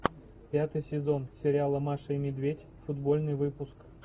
пятый сезон сериала маша и медведь футбольный выпуск